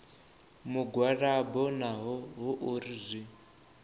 mugwalabo naho hu uri zwi